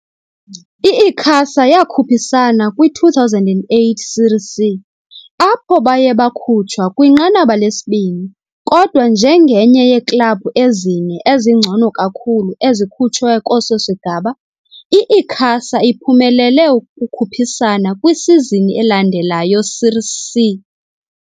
I-Icasa yakhuphisana kwi-2008 Série C, apho baye bakhutshwa kwinqanaba lesibini kodwa njengenye yeeklabhu ezine ezingcono kakhulu ezikhutshwe kweso sigaba, i-Icasa iphumelele ukukhuphisana kwisizini elandelayo's Série C.